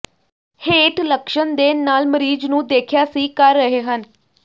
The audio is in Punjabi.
ਹੇਠ ਲੱਛਣ ਦੇ ਨਾਲ ਮਰੀਜ਼ ਨੂੰ ਦੇਖਿਆ ਸੀ ਕਰ ਰਹੇ ਹਨ